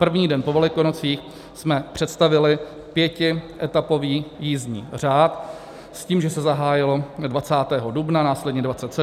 První den po Velikonocích jsme představili pětietapový jízdní řád s tím, že se zahájilo 20. dubna, následně 27. a tak dále.